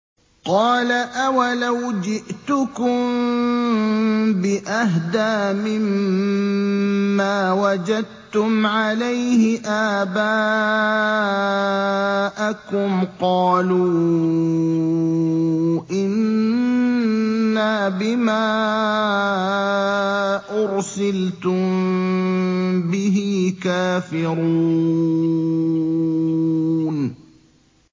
۞ قَالَ أَوَلَوْ جِئْتُكُم بِأَهْدَىٰ مِمَّا وَجَدتُّمْ عَلَيْهِ آبَاءَكُمْ ۖ قَالُوا إِنَّا بِمَا أُرْسِلْتُم بِهِ كَافِرُونَ